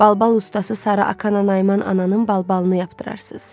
Balbal ustası Sarı Akana Nayman ananın balbalını yapdırarsız.